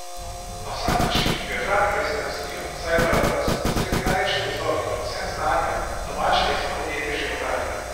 Na vsak način bi ohranil lesno industrijo, saj je paradoks, da sredi najlepših gozdov in ob vsem znanju domače lesno podjetje životari.